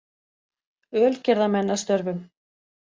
Ölgerðarmenn að störfum.